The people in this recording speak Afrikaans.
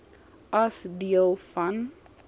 as deel van